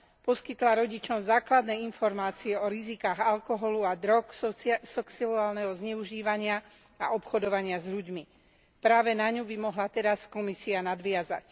poskytla rodičom základné informácie o rizikách alkoholu a drog, sexuálneho zneužívania a obchodovania s ľuďmi. Práve na ňu by mohla teraz Komisia nadviazať.